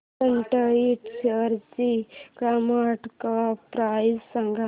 सॅट इंड शेअरची market cap price सांगा